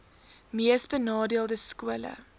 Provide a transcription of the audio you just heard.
mees benadeelde skole